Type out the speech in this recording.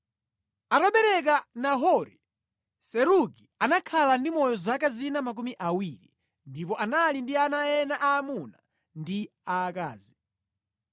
Atabereka Nahori, Serugi anakhala ndi moyo zaka zina 200 ndipo anali ndi ana ena aamuna ndi aakazi.